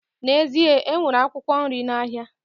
N'ezie, e nwere akwụkwọ nri n'ahịa